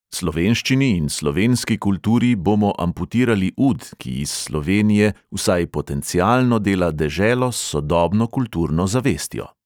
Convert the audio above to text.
Slovenščini in slovenski kulturi bomo amputirali ud, ki iz slovenije vsaj potencialno dela deželo s sodobno kulturno zavestjo.